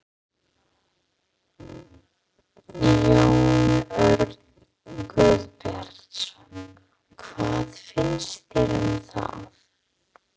Jón Örn Guðbjartsson: Hvað finnst þér um það?